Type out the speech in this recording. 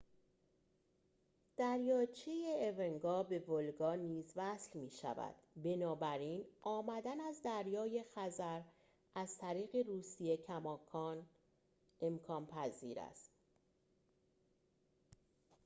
دریاچه اونگا به ولگا نیز وصل می‌شود بنابراین آمدن از دریای خزر از طریق روسیه کماکان امکان پذیر است